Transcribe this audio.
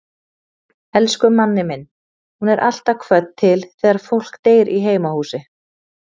Elsku Manni minn, hún er alltaf kvödd til þegar fólk deyr í heimahúsi.